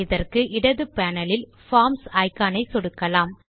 இதற்கு இடது பேனல் இல் பார்ம்ஸ் இக்கான் ஐ சொடுக்கலாம்